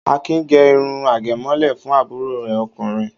Akin gẹ irun àgẹ̀mọ́lẹ̀ fún àbúrò rẹ̀ ọkùnrin?